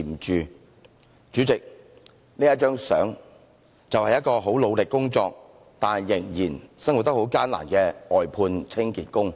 代理主席，這幅照片展示的就是一名即使努力工作，但仍生活得很艱難的外判清潔工。